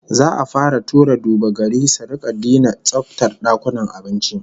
Za'a fara tura duba-gari su rika dina tsaftar dakunan abinci